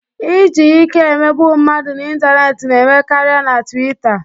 Iji ike emegbu mmadụ n'ịntanetị na-eme karịa na Twita